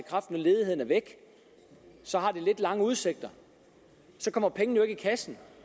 når ledigheden er væk så har det lidt lange udsigter så kommer pengene jo ikke i kassen